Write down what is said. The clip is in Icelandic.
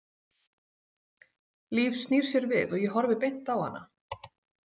Líf snýr sér við og ég horfi beint á hana.